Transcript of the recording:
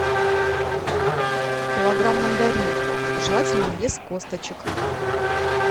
килограмм мандаринов желательно без косточек